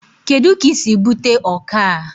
Kedu ka I si bute ọkọ a?